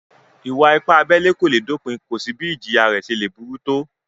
Ìwà-ipá abẹ́lẹ́ kò le dopin, kò sí bí ìjìyà rẹ̀ ṣe le burú tó